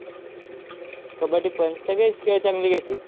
कबड्डी पण. सगळेच खेळ चांगले घेत्यात.